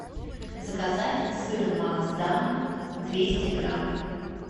заказать сыр маасдам двести грамм